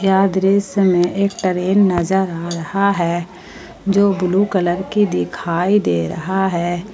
यह दृश्य में एक ट्रेन नजर आ रहा है जो ब्ल्यू कलर की दिखाई दे रहा है।